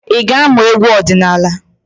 Ị ga-amụ egwu ọdịnaala?